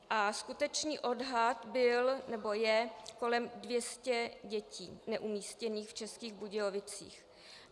A skutečný odhad byl, nebo je, kolem 200 dětí neumístěných v Českých Budějovicích.